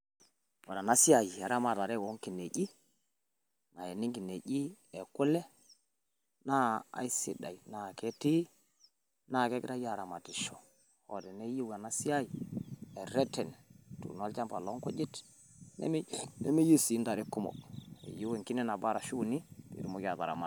Ore ena siai eramatata o nkinejik, nayeni nkinejik e kule naa keisidai naa ketii naa kegirai aramatisho. Ore hoo teeneyieu Ena siai erreten ituuno olchamba loo nkujit nemeyieu sii ntare kumok, eyieu enkine nabo ashu uni pee itumoki ataramata.